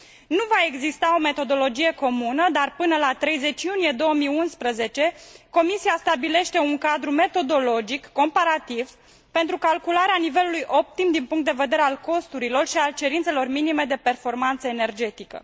Nu va exista o metodologie comună, dar, până la 30 iunie 2011, Comisia stabilește un cadru metodologic comparativ pentru calcularea nivelului optim din punct de vedere al costurilor și al cerințelor minime de performanță energetică.